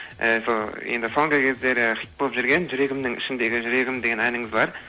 і сол енді соңғы кездері хит болып жүрген жүрегімнің ішіндегі жүрегім деген әніңіз бар